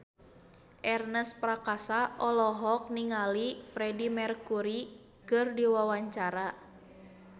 Ernest Prakasa olohok ningali Freedie Mercury keur diwawancara